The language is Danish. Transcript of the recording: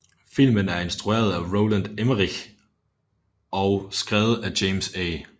Filmen er instrueret af Roland Emmerich og skrevet af James A